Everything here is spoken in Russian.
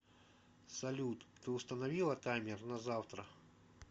салют ты установила таймер на завтра